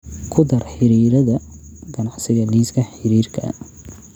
ku dar xiriirada ganacsiga liiska xiriirka